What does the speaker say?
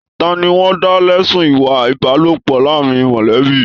Tani wọn dá lẹ̀sun ìwà ìbálòpọ̀ láàrín mọlẹbi?